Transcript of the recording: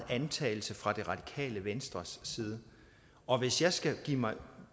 antagelse fra det radikale venstres side og hvis jeg skal begive mig